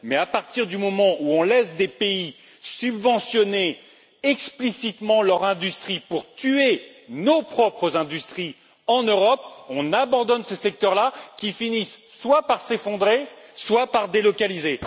Mais à partir du moment où on laisse des pays subventionner explicitement leur industrie pour tuer nos propres industries en Europe, on abandonne ces secteurs là, qui finissent soit par s'effondrer, soit par délocaliser.